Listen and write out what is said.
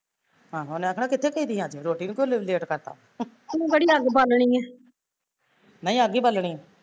ਆਹੋ, ਉਹਨੇ ਆਖਣਾ ਕਿੱਥੇ ਗਈ ਸੀ ਅੱਜ ਰੋਟੀ ਤੋਂ ਕਿਉ late ਕਰਤਾ ਨਹੀਂ ਅੱਗ ਈ ਬਾਲਣੀ